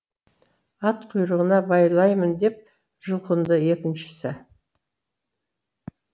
ат құйрығына байлаймын деп жұлқынды екіншісі